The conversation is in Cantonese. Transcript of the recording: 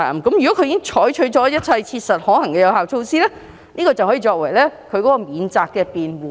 如果他們已採取一切切實可行的有效措施，則屆時可以此作為免責辯護。